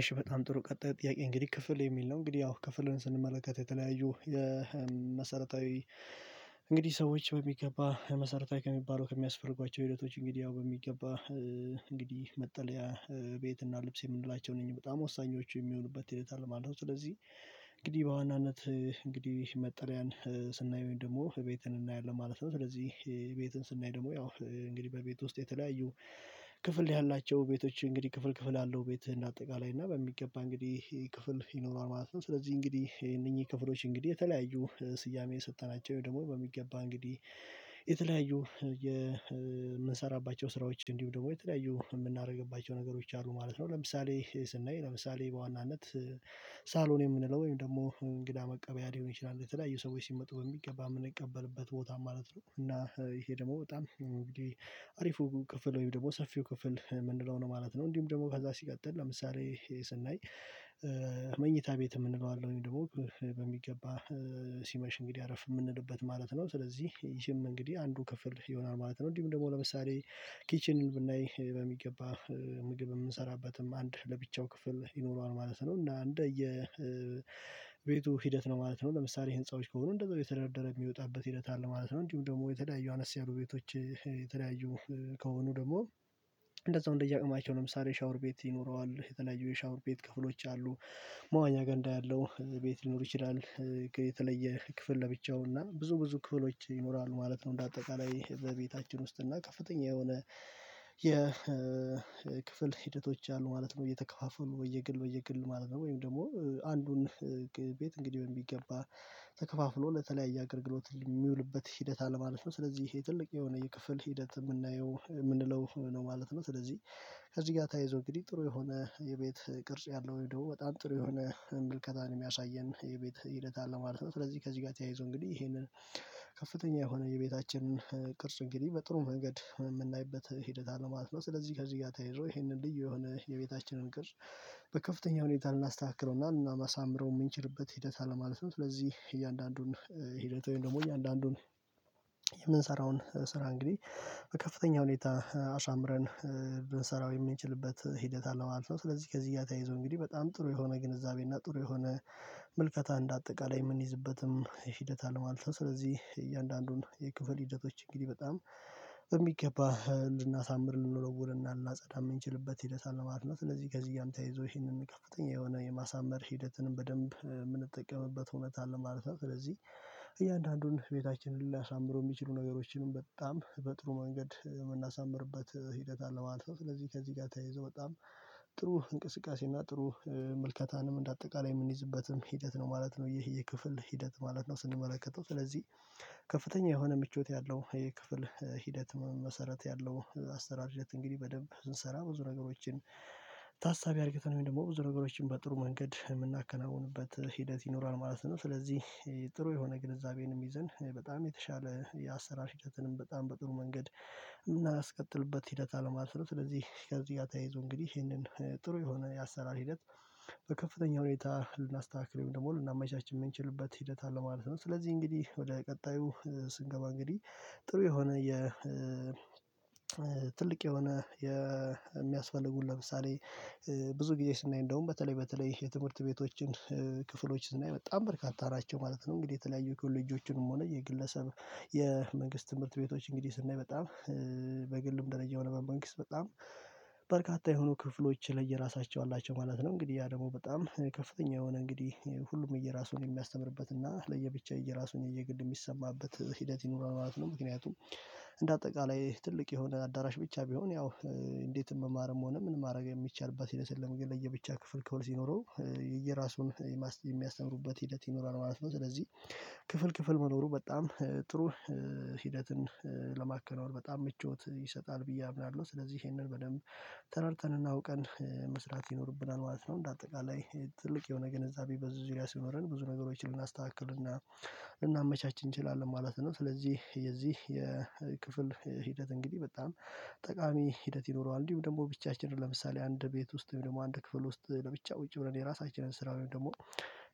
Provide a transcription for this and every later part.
እሽ በጣም ጥሩ ቀጣዩ ጥያቄ እንግዲህ ክፍል የሚል ነው እንግዲህ ያው ክፍልን ስንመለከት የተለያዩ መሰረታዊ እንግዲህ ሰዎች በሚገባ መሰረታዊ ከሚባለው ከሚያስፈርጓቸው ህይወቶች እንግዲህ ያው በሚገባ እንግዲህ መጠለያ ቤት እና ልብስ የምንላቸው እነኝ በጣም ወሳኞቹ የሚሆኑበት ሆነታ አለ ማለትት ነው። ስለዚህ እንግዲህ በዋናነት እንግዲህ መጠልያን ስናይ ወይም ደግሞ ቤትን እናያለን ማለት ነው። ስለዚህ ቤትን ስናይ ደግሞ ያው እንግዲህ በቤት ውስጥ የተለያዩ ክፍል ያላቸው ቤቶች እንግዲህ ክፍል ክፍል አለው ቤትህን ያጠቃልላል። እና በሚገባ እንግዲህ ክፍል ይኖረዋል ማለት ነው። ስለዚህ እንግዲህ እነኚህ ክፍሎች እንግዲህ የተለያዩ ስያሜ የሰጠናቸው ወይ ደግሞ በሚገባ እንግዲህ የተለያዩ የምንሰራባቸው ስራዎች እንዲሁም ደግሞ የተለያዩ የምናደርግባቸው ነገሮች አሉ ማለት ነው። ለምሳሌ ስናይ ለምሳሌ በዋናነት ሳሎን የምንለው ወይም ደግሞ እንግዳ መቀበያ ሊሆን ይችላል የተለያዩ ሰዎች ሲመጡ በሚገባ የምንቀበልበት ቦታ ማለት ነው። እና ይሄ ደግሞ በጣም እንግዲህ አሪፉ ክፍል ወይም ደግሞ ሰፊው ክፍል የምንለው ነው ማለት ነው። እንዲሁም ደግሞ ከዛ ሲቀጥል ለምሳሌ ስናይ መኝታ ቤት የምንለው አለው ወይም ደግሞ በሚገባ ሲመሽ እንግዲህ አረፍ የምንልበት ማለት ነው። ስለዚህ ይሄም እንግዲህ አንዱ ክፍል ይሆናል ማለት ነው። እንዲህ ደግሞ ለምሳሌ ኪችን ብናይ በሚገባ ምግብ የምንሰራበትም አንድ ለብቻው ክፍል ይኖረዋል ማለት ነው። እና እንደየ የቤቱ ሂደት ነው ማለት ነው ለምሳሌ ህንፃዎች ከሆኑ እንደው የተደረደረ የሚወጣበት ሂደት አለ ማለት ነው። እንዲሁም ደግሞ የተዳዩ አነስ ያሉ ቤቶች ከሆኑ ደግሞ እንደዛው እንደየቀማቸው ለምሳሌ ሻወር ቤት ይኖረዋል የተለያዩ የሻወር ቤት ክፍሎች አሉ። መዋኛ ጋንዳ ያለው ቤት ሊኖር ይችላል የተለየ ክፍል ለብቻው እና ብዙ ብዙ ክፍሎች ይኖራሉ ማለት ነው። እንደ አጠቃላይ በቤታችን ውስጥ እና ከፍተኛ የሆነ የክፍል ሂደቶች አሉ ማለት ነው። እየተከፋፈሉ ወይ የግል ወይ የግል ማለት ነው ወይም ደግሞ አንዱን ቤት እንግዲህ ቢገባ ተከፋፍሎ ለተለያየ አገርግሎት የሚውልበት ሂደት አለማለፍ ነው። ስለዚህ ይሄ ትልቅ የሆነ የክፍል ሂደት የምናየው የምንለው ነው ማለት ነው። ስለዚህ ከዚህ ጋር ተያይዞ እንግዲህ ጥሩ የሆነ የቤት ቅርጽ ያለው ወይንም ደግሞ በጣም ጥሩ የሆነ ምልከታን የሚያሳየን የቤት ሂደት አለ ማለት ነው። ስለዚህ ከዚህ ጋር ተያይዞ እንግዲህ ይሄንን ከፍተኛ የሆነ የቤታችንን ቅርጽ እንግዲህ በጥሩ መንገድ የምናይበት ሂደት አለ ማለት ነው። ስለዚህ ከዚህ ጋር ተይዞ ይሄንን ልዩ የሆነ የቤታችንን ቅርጽ በከፍተኛ ሁኔታ ልናስተካክለውና ማሳምረው የምንችልበት ሂደት አለማለት ነው። ስለዚህ እያንዳንዱን ሂደት ደግሞ እያንዳንዱን የምንሰራውን ስራ እንግዲህ ከፍተኛ ሁኔታ አሳምረን ብንሰራው የምንችልበት ሂደት አለ ማለት ነው። ስለዚህ ከዚህ እያየሁ እንግዲህ በጣም ጥሩ የሆነ ግንዛቤ እና ጥሩ የሆነ መልከታ እንደ አጠቃላይ የምንይዝበትም ይሄ ሂደት አለ ማለት ነው። ስለዚህ እያንዳንዱን የክፍል ሂደቶች እንግዲህ በጣም በሚገባ ልናሳምር ልንወለውልና ልናጸዳም የምንችልበት ሂደት አለ። ማለት ስለዚህ ከዚህ ጋርም ተያይዞ ይሄንን ከፍተኛ የሆነ የማሳመር ሂደትንም በደንብ የምንጠቀምበት ሆነታ አለ ማለት ነው። ስለዚህ እያንዳንዱን ቤታችንን ሊያሳምረው የሚችሉ ነገሮችንም በጣም በጥሩ መንገድ የምናሳምርበት ሂደት አለ ማለት ነው። ስለዚህ ከዚህ ጋር ተያይዞ በጣም ጥሩ እንቅስቃሴ እና ጥሩ መልከታንም እንደ አጠቃላይ የምንይዝበትም ሂደት ነው ማለት ነው። ይሄ የክፍል ሂደት ማለት ነው ስንመለከተው ስለዚህ ከፍተኛ የሆነ ምቾት ያለው የክፍል ሂደት መሰረት ያለው አስራር ሂደት እንግዲህ በደንብ ስንሰራ ብዙ ነገሮችን ታሳቢ አድርግተን ወይም ደግሞ ብዙ ነገሮችን በጥሩ መንገድ የምናከናውንበት ሂደት ይኖራል ማለት ነው። ስለዚህ ጥሩ የሆነ ግንዛቤንም ይዘን በጣም የተሻለ የአሰራር ህደትንም በጣም በጥሩ መንገድ የምናስቀጥልበት ሂደት አልማለት ነው። ስለዚህ ከዚህ ጋር ተያይዞ እንግዲህ ይሄንን ጥሩ የሆነ የአሰራር ሂደት በከፍተኛ ሁኔታ ልናስተካክል ወይንም ደግሞ ልናመቻች የምንችልበት ሂደት አለ ማለት ነው። ስለዚህ እንግዲህ ወደ ቀጣዩ ስንገባ እንግዲህ ጥሩ የሆነ የ ትልቅ የሆነ የሚያስፈልጉን ለምሳሌ ብዙ ጊዜ ስናይ እንደውም በተለይ በተለይ የትምህርት ቤቶችን ክፍሎችን ስናይ በጣም በርካታ ናቸው ማለት ነው። እንግዲህ የተለያዩ ኮሌጆችንም ሆነ የግለሰብ የመንግስት ትምህርት ቤቶች እንግዲህ ስናይ በጣም በግልም ደረጃ ሆነ በመንግስት በርካታ የሆኑ ክፍሎች ለየራሳቸው አላቸው ማለት ነው። እንግዲህ ያ ደግሞ በጣም ከፍተኛ የሆነ እንግዲህ ሁሉም የየራሱን የሚያስተምርበት እና ለብቻው ራሱን የየግል የሚሰማበት ሂደት ይኖራል ማለት ነው። ምክንያቱም እንደ አጠቃላይ ትልቅ የሆነ አዳራሽ ብቻ ቢሆን ያው እንዴት? የምማርም ሆነ ምን ማድረግ የሚቻልባት ይለሰን ለየብቻ ክፍል ከብር ሲኖረው የየራሱን የማስታወቂያ የሚያስተምሩበት ሂደት ይኖራል ማለት ነው። ስለዚህ ክፍል ክፍል መኖሩ በጣም ጥሩ ሂደትን ለማከናወን በጣም ምቾት ይሰጣል ብዬ አምናለሁ። ስለዚህ ይሄንን በደንብ ተረድተንና እውቀን መስራት ይኖርብናል ማለት ነው። እንደ አጠቃላይ ትልቅ የሆነ ግንዛቤ በዚህ ዙሪያ ሲኖረን ብዙ ነገሮችን ልናስተካክል እና ልናመቻች እንችላለን ማለት ነው። ስለዚህ የዚህ የክፍል ሂደት እንግዲህ በጣም ጠቃሚ ሂደት ይኖረዋል። እንዲሁም ደግሞ ብቻችንን ለምሳሌ አንድ ቤት ውስጥ ደግሞ አንድ ክፍል ውስጥ ለብቻ ቁጭ ብለን የራሳችንን ስራ ወይንም ደግሞ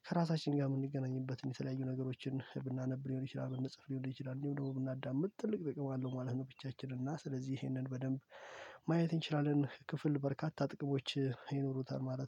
ከራሳችን ጋር የምንገኝበትን የተለያዩ ነገሮችን ብናነብ ሊሆን ይችላል ብንጽፍ ሊሆን ይችላል እንዲሁ ደግሞ ብናዳምጥ ትልቅ በቃ አለው ማለት ነው። ብቻችንን እና ስለዚህ ይሄንን በደንብ ማየት እንችላለን። ክፍል በርካታ ጥቅሞች ይኖሩታል ማለት ነው